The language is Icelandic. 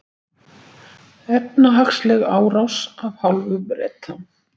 Efnahagsleg árás af hálfu Breta